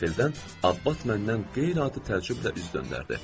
Qəfildən Abbat məndən qeyri-adi təəccüblə üz döndərdi.